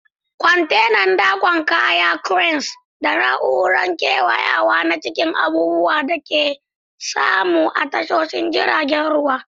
Kwantenan dakon kaya, cranes, da na'urorin kewayawa na cikin abubuwan da ake samu a tashoshin jiragen ruwa.